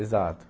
Exato.